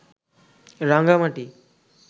Rangamati